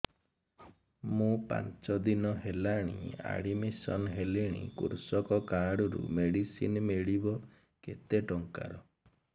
ମୁ ପାଞ୍ଚ ଦିନ ହେଲାଣି ଆଡ୍ମିଶନ ହେଲିଣି କୃଷକ କାର୍ଡ ରୁ ମେଡିସିନ ମିଳିବ କେତେ ଟଙ୍କାର